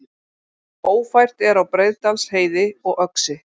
Ófært er á Breiðdalsheiði og Öxi